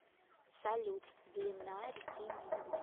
салют длина реки нил